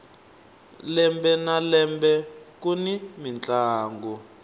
lembe na lembe kuni mintlangu